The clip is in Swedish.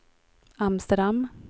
Amsterdam